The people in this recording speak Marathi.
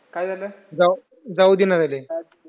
काय झालं जा जाऊ देईना झाले.